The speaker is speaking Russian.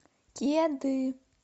кеды